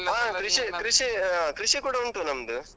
ಕೃಷಿ ಕೃಷಿ ಕೂಡ ಉಂಟು ನಮ್ದು.